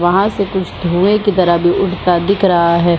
वहाँ से कुछ धुएँ की तरह भी उड़ता दिख रहा है ।